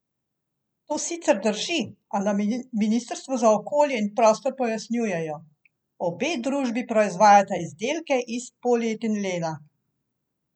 To sicer drži, a na ministrstvu za okolje in prostor pojasnjujejo: 'Obe družbi proizvajata izdelke iz polietilena.